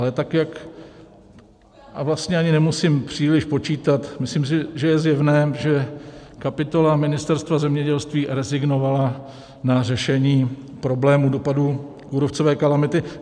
Ale tak jak - a vlastně ani nemusím příliš počítat, myslím si, že je zjevné, že kapitola Ministerstva zemědělství rezignovala na řešení problému dopadu kůrovcové kalamity.